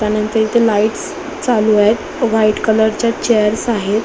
त्यानंतर इथे लाइटस चालूयेत व्हाइट कलरसच्या चेअर्स आहेत.